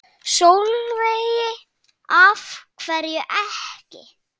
Sólveig: Af hverju ekki?